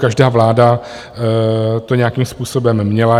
Každá vláda to nějakým způsobem měla.